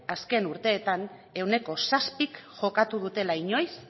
azken urteetan ehuneko zazpik jokatu dutela inoiz